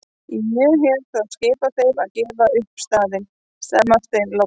Ég hef þá skipað þeim að gefa upp staðinn, sagði Marteinn loks.